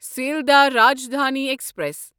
Sealdah Rajdhani express